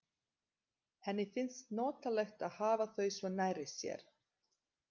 Henni finnst notalegt að hafa þau svo nærri sér.